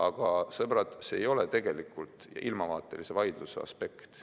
Aga, sõbrad, see ei ole tegelikult ilmavaatelise vaidluse aspekt.